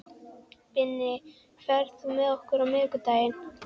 Binna, ferð þú með okkur á miðvikudaginn?